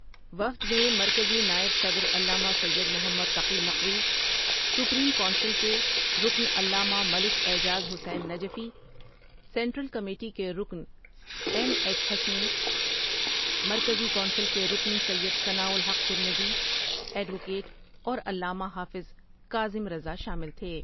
وفد میں مرکزی نائب صدر علامہ سید محمد تقی نقوی، سپریم کونسل کے رکن علامہ ملک اعجاز حسین نجفی، سینٹرل کمیٹی کے رکن ایم ایچ حسنی، مرکزی کونسل کے رکن سید ثناءالحق ترمذی ایڈوکیٹ اور علامہ حافظ کاظم رضا شامل تھے ۔